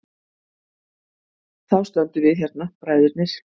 Þá stöndum við hérna, bræðurnir.